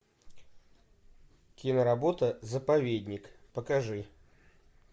киноработа заповедник покажи